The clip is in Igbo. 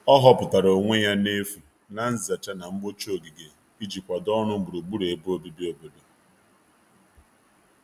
ọ huputara onwe ya n'efu na nzacha na mgbocha ogige iji kwado ọrụ gburugburu ebe obibi obodo